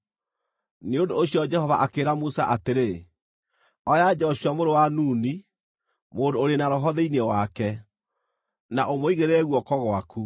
Nĩ ũndũ ũcio Jehova akĩĩra Musa atĩrĩ, “Oya Joshua mũrũ wa Nuni, mũndũ ũrĩ na roho thĩinĩ wake, na ũmũigĩrĩre guoko gwaku.